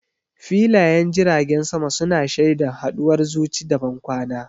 Filayen jiragen sama su na shaida haduwar zuci da bankwana.